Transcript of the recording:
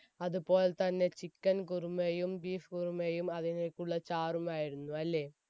അതുപോലെ തന്നെ chicken കുറുമയും beef കുറുമയും അതിലേക്കുള്ള ചാറുമായിരുന്നു അല്ലേ?